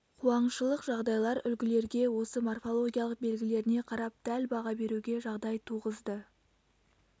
қуаңшылық жағдайлар үлгілерге осы морфологиялық белгілеріне қарап дәл баға беруге жағдай туғызды